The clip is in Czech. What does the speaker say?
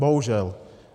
Bohužel.